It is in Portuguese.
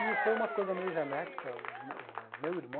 E foi uma coisa meio genética, os me o meu irmão,